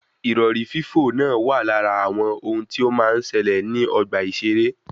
Ìrọ̀rí fífò náà wà lára àwọn ohun tí ó máa ń ṣẹlẹ ní ogbà ìseré